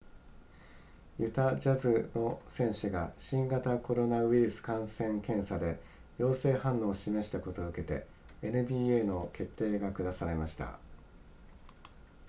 ユタジャズの選手が新型コロナウイルス感染検査で陽性反応を示したことを受けて nba の決定が下されました